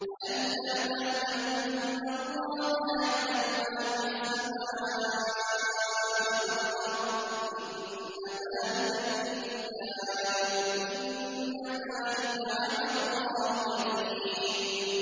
أَلَمْ تَعْلَمْ أَنَّ اللَّهَ يَعْلَمُ مَا فِي السَّمَاءِ وَالْأَرْضِ ۗ إِنَّ ذَٰلِكَ فِي كِتَابٍ ۚ إِنَّ ذَٰلِكَ عَلَى اللَّهِ يَسِيرٌ